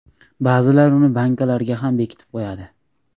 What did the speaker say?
Ba’zilar uni bankalarga ham bekitib qo‘yadi.